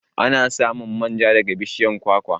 Ana samun manja daga bishiyar kwakwa.